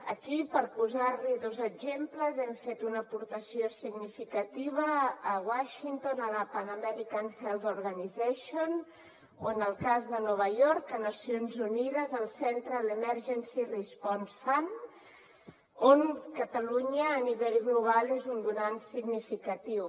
aquí per posar n’hi dos exemples hem fet una aportació significativa a washington a la pan american health organization o en el cas de nova york a nacions unides al central emergency response fund on catalunya a nivell global és un donant significatiu